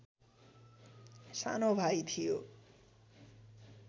सानो भाइ थियो